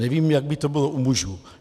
Nevím, jak by to bylo u mužů.